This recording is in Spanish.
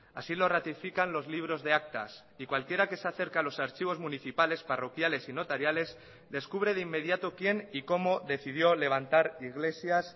así lo ratifican los libros de actas y cualquiera que se acerca a los archivos municipales parroquiales y notariales descubre de inmediato quién y cómo decidió levantar iglesias